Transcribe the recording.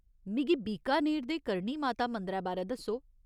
मिगी बीकानेर दे करणी माता मंदरै बारै दस्सो।